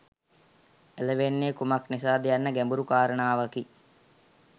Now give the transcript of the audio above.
ඇලවෙන්නේ කුමක් නිසාද යන්න ගැඹුරු කාරණාවකි